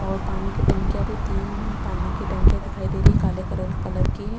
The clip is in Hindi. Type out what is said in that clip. और पानी की टंकियां भी तीन पानी की टंकियां दिखाई दे रही है काले करल कलर की है।